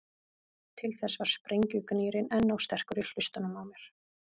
Til þess var sprengjugnýrinn enn of sterkur í hlustunum á mér.